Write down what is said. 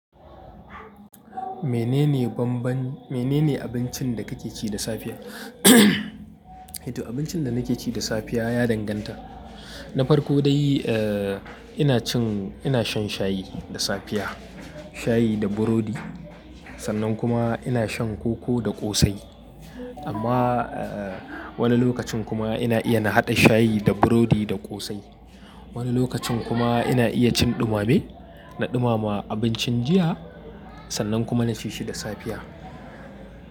Menene banban-- menene abincin da ka ke ci da safiya? To abincin da nake ci da safiya ya danganta. Na farko dai, eh, ina cin, ina shan shayi da safiya, shayi da burodi. Sannan kuma ina shan koko da ƙosai. Amma, eh, wani lokacin kuma ina iya na haɗa shayi da burodi da ƙosai. Wani lokacin kuma ina iya cin ɗumame, na ɗumama abincin jiya sannan kuma na ci shi da safiya.